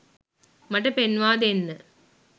මට පෙන්වා දෙන්න.